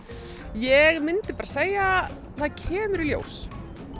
ég myndi segja það kemur í ljós